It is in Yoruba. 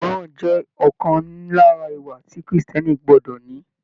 Ìgbọràn jẹ ọkan lára ìwà tí kírísítẹ́nì gbọdọ ní.